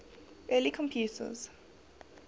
early computers